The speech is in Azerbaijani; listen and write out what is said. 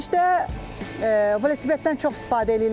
Xaricdə velosipeddən çox istifadə eləyirlər.